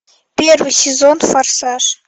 первый сезон форсаж